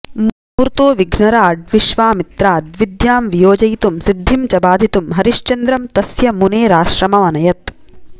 मूर्तो विघ्नराड् विश्वामित्राद् विद्यां वियोजयितुं सिद्धिं च बाधितुं हरिश्चन्द्रं तस्य मुनेराश्रममनयत्